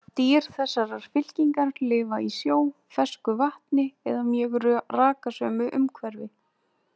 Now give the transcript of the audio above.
Dýr þessarar fylkingar lifa í sjó, fersku vatni eða mjög rakasömu umhverfi.